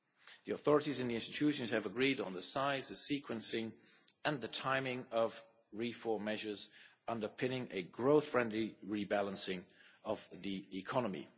The authorities in the Institutions have agreed on the size, the sequencing and the timing of reform measures underpinning a growth friendly rebalancing of the economy.